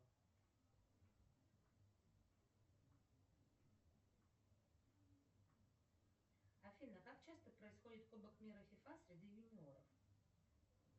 афина как часто происходит кубок мира фифа среди юниоров